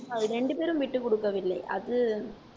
அது ரெண்டு பேரும் விட்டு கொடுக்கவில்லை அது